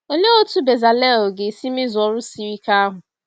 Olee otú Bẹzalel ga-esi mezuo ọrụ siri ike ahụ?